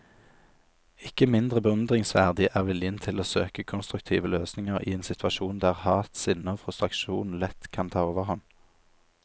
Ikke mindre beundringsverdig er viljen til å søke konstruktive løsninger i en situasjon der hat, sinne og frustrasjon lett kunne ta overhånd.